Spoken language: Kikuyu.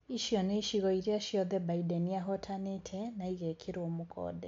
Ici nĩ icigo iria ciothe Mbideni ahotanĩte na ĩgekĩrwo mũkonde.